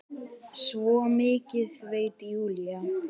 Svo mikið veit Júlía.